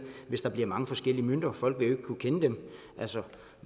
hvis der bliver mange forskellige mønter folk vil kunne kende dem